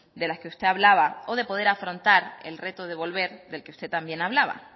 de las que usted hablaba o de poder afrontar el reto de volver del que usted también hablaba